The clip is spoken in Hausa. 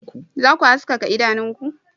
Za ku haskaka idanunku